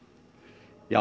já